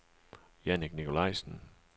Jannik Nicolaisen